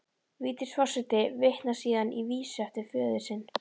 Vigdís forseti vitnar síðan í vísu eftir föður sinn: